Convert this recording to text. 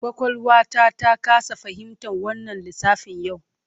Kwakwalwata ta kasa fahimtar wannan lissafin yau.